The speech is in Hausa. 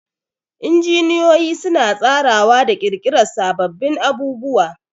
Injiniyoyi suna tsarawa da ƙirƙirar sababbin abubuwa